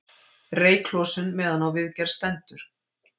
Reyklosun meðan á viðgerð stendur